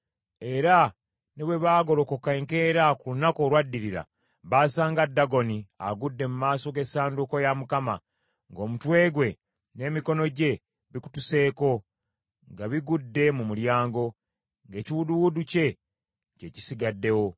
Era ne bwe baagolokoka enkeera ku lunaku olwaddirira, baasanga Dagoni agudde mu maaso g’essanduuko ya Mukama , ng’omutwe gwe n’emikono gye bikutuseeko nga bigudde mu mulyango, ng’ekiwuduwudu kye, kye kisigaddewo.